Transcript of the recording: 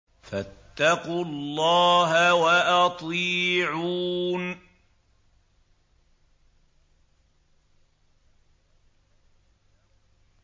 فَاتَّقُوا اللَّهَ وَأَطِيعُونِ